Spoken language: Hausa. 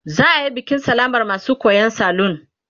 za'ayi bikin sallamar masu koyan aikin salun